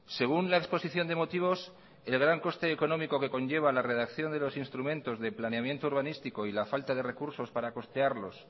según la exposición de motivos el gran coste económico que conlleva la redacción de los instrumentos de planeamiento urbanístico y la falta de recursos para costearlos